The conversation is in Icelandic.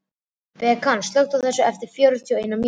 Bekan, slökktu á þessu eftir fjörutíu og eina mínútur.